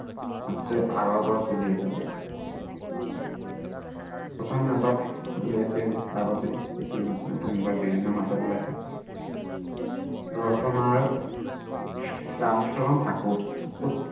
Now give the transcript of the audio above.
আছে আগৰ পৰাই চলি আহিছে প্ৰথম নাটক উলিয়াইছিল আগতেই এতিয়া নতুন নতুননাটক বিভিন্ন নাটক উলাইছে ৰচনাৰ ৰামচৰণ ঠাকুৰ